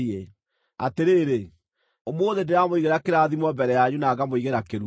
Atĩrĩrĩ, ũmũthĩ ndĩramũigĩra kĩrathimo mbere yanyu na ngamũigĩra kĩrumi,